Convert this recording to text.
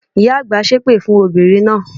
Ìyá àgbà ṣé èpè fún obìnrin náà